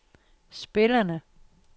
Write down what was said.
spillerne